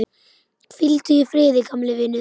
Hvíldu í friði, gamli vinur.